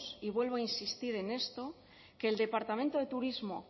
y vuelvo a insistir en esto que el departamento de turismo